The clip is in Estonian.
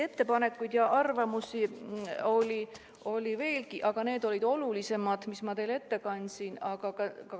Ettepanekuid ja arvamusi oli veelgi, aga need, mis ma teile ette kandsin, olid olulisemad.